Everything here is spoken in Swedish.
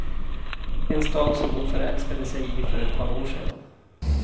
En stad som hon förälskade sig i för ett par år sedan.